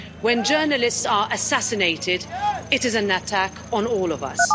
When journalists are assassinated it is an attack on all of us.